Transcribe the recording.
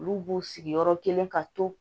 Olu b'u sigi yɔrɔ kelen ka to